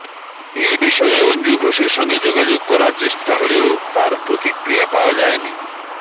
এ বিষয়ে অঞ্জু ঘোষের সঙ্গে যোগাযোগ করার চেষ্টা হলেও তার প্রতিক্রিয়া পাওয়া যায়নি